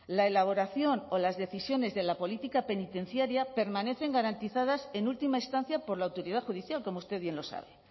la elaboración o las decisiones de la política penitenciaria permanecen garantizadas en última instancia por la autoridad judicial como usted bien lo sabe